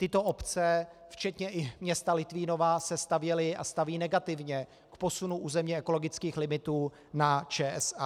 Tyto obce včetně i města Litvínova se stavěly a staví negativně k posunu územně ekologických limitů na ČSA.